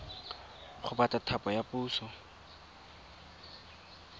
go batla thapo ya puso